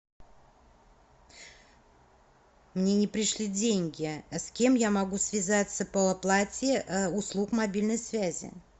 мне не пришли деньги с кем я могу связаться по оплате услуг мобильной связи